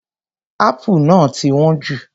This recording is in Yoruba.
Apple náà ti wọ́n jù.